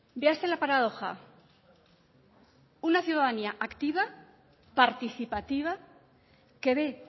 véase la paradoja una ciudadanía activa participativa que ve